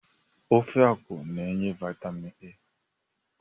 Ofe akwụ n'enye vitamin A